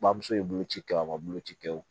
Bamuso ye bolo ci kɛ o ma boloci kɛ o